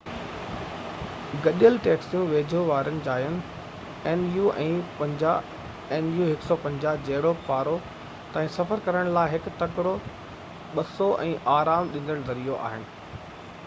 گڏيل ٽيڪسيون ويجهو واري جاين جهڙوڪ پارو nu 150 ۽ پُناخا nu 200 تائين سفر ڪرڻ لاءِ هڪ تڪڙو ۽ آرام ڏيندڙ ذريعو آهن